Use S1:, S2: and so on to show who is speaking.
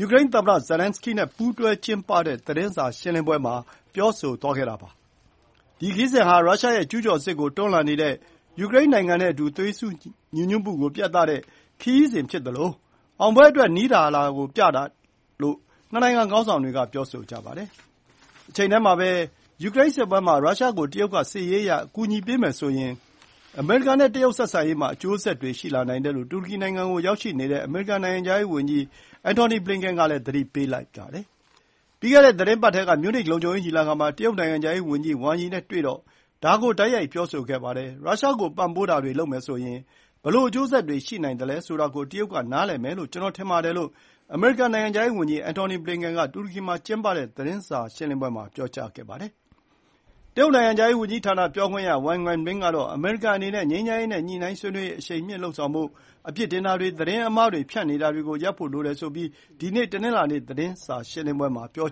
S1: ယူကရိန်းသမ္မတ Zelenskyy နဲ့ ပူးတွဲကျင်းပတဲ့ သတင်းစာရှင်းလင်းပွဲမှာ ပြောဆိုသွားတာပါ။ ဒီခရီးစဉ်ဟာ ရုရှားရဲ့ ကျုးကျော်စစ်ကို တွန်းလှန်နေတဲ့ ယူကရိန်းနိုင်ငံနဲ့အတူ သွေးစည်းညီညွတ်မှုကို ပြသတဲ့ ခရီးစဉ်ဖြစ်သလို အောင်ပွဲအတွက် နီးလာတာကို ပြသတာလို့ နှစ်နိုင်ငံခေါင်းဆောင်တွေက ပြောဆိုပါတယ်။ တချိန်တည်းမှာ ယူကရိန်းစစ်ပွဲမှာ ရုရှားကို တရုတ်က စစ်ရေးအရ အကူအညီပေးမယ်ဆိုရင် အမေရိကန် နဲ့ တရုတ် ဆက်ဆံရေး မှာ အကျိုးဆက်တွေရှိလာနိုင်တယ်လို့ တူရကီနိုင်ငံကို ရောက်နေတဲ့ အမေရိကန်နိုင်ငံခြားရေးဝန်ကြီး Antony Blinken ကလည်း သတိပေးပြောဆိုပါတယ်။ ပြီးခဲ့တဲ့သီတင်းပတ်ထဲ မြူးနစ် လုံခြုံရေး ညီလာခံ မှာ တရုတ် နိုင်ငံခြားရေး ဝန်ကြီး ဝမ်ယီနဲ့ တွေ့တော့ ဒါ ကို တိုက်ရိုက် ပြောဆိုခဲ့ပါတယ်။ ရုရှား ကိုပံ့ပိုးတာတွေ လုပ်မယ်ဆိုရင် ဘယ်လိုအကျိုးဆက်တွေ ရှိနိုင်သလဲ ဆိုတာ ကို တရုတ် က နားလည်မယ်လို့ ကျွန်တော် ထင်ပါတယ်လို့ အမေရိကန် နိုင်ငံခြားရေး ဝန်ကြီး Antony Blinken က တူရကီမှာကျင်းပတဲ့ သတင်းစာရှင်းလင်းပွဲမှာပြောကြားခဲ့တာပါ။ တရုတ် နိုင်ငံခြားရေး ဝန်ကြီးဌာန ပြောခွင့်ရ Wang Wenbin ကတော့ အမေရိကန်အနေနဲ့ ငြိမ်းချမ်းရေး နဲ့ ညှိုနှိုင်းဆွေးနွေးရေး အရှိန်မြှင့်လုပ်ဆောင်ဖို့၊ အပြစ်တင်တာတွေ ၊ သတင်းအမှားတွေ ဖြန့်နေတာတွေ ရပ်ဖို့ လိုတယ်ဆိုပြီး ဒီနေ့ တနင်္လာနေ့ သတင်းစာရှင်းလင်းပွဲ မှာ ပြော